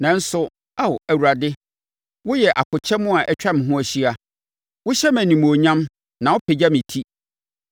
Nanso, Ao Awurade, woyɛ akokyɛm a atwa me ho ahyia wohyɛ me animuonyam na wopagya me ti.